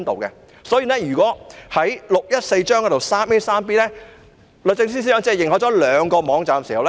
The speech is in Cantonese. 根據第614章第 3a 和 b 條，律政司司長只認可兩個網站。